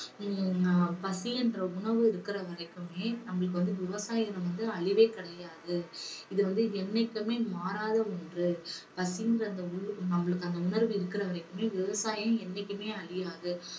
ஹம் பசி என்ற உணர்வு இருக்குற வரைக்குமே நம்மளுக்கு வந்து விவசாயம் வந்து அழிவே கிடையாது இது வந்து என்னைக்குமே மாறாத ஒன்று. பசிங்குற அந்த உ~ நம்மளுக்கு அந்த உணர்வு இருக்குற வரைக்குமே விவசாயம் என்னைக்குமே அழியாது.